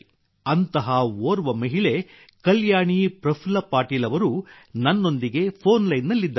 ಅಂತಹ ಓರ್ವ ಮಹಿಳೆ ಕಲ್ಯಾಣಿ ಪ್ರಫುಲ್ಲ ಪಾಟೀಲ್ ಅವರು ನನ್ನೊಂದಿಗೆ ಫೋನ್ ಲೈನ್ನಲ್ಲಿದ್ದಾರೆ